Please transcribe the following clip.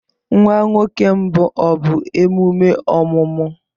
Nwa nwoke mbụ ọ bụ emume ọmụmụ?